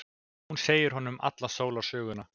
Hún segir honum alla sólarsöguna.